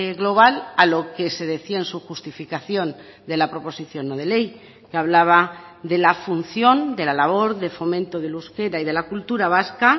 global a lo que se decía en su justificación de la proposición no de ley que hablaba de la función de la labor de fomento del euskera y de la cultura vasca